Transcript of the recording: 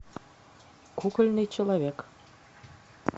кукольный человек